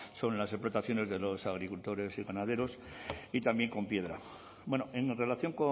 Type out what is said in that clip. son las explotaciones de los agricultores y ganaderos y también con piedra en relación